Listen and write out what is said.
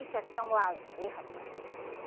Isso aqui é um lazer, rapaz, né?